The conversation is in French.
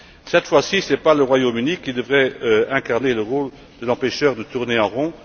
Cette fois ci, ce n'est pas le Royaume Uni qui devrait incarner le rôle de l'empêcheur de tourner en rond.